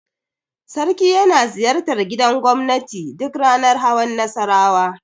Sarki yana ziyartar gidan gobnati duk ranar hawan Nassarawa.